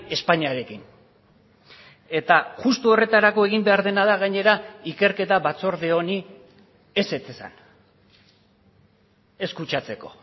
espainiarekin eta justu horretarako egin behar dena da gainera ikerketa batzorde honi ezetz esan ez kutsatzeko